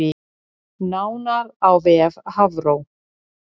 Nánar á vef Hafró